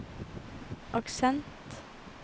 aksent